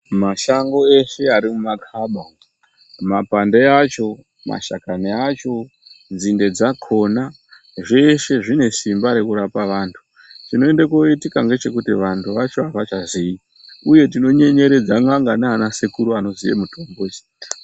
Mashango eshe ari mumakhaba mapande acho mashakani acho, nzinde dzakhona zveshe zvine simba rekurapa vantu chinoende koitika ngechekuti vantu vachon avachazii uye tinonyenyeredza n'anga nana sekuru anoziye mitombo.